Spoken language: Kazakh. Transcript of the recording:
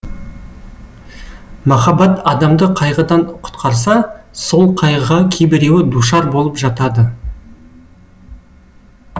махаббат адамды қайғыдан құтқарса сол қайғыға кейбіреуі душар болып жатады